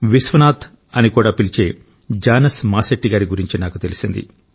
విశ్వనాథ్ అని కూడా పిలిచే జానస్ మాసెట్టి గారి గురించి నాకు తెలిసింది